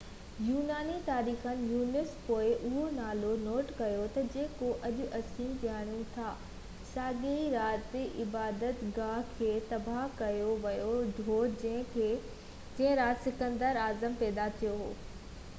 يوناني تواريخ نويس پوءِ اهو نالو نوٽ ڪيو تہ جيڪو اڄ اسين ڄاڻو ٿا ساڳئي رات عبادت گاه کي تباه ڪيو ويو هو جنهن رات سڪندر اعظم پيدا ٿيو هو